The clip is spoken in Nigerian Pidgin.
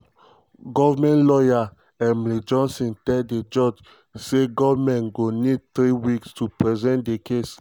goment lawyer emily johnson tell di judge tsay goment go need three weeks to present dia case.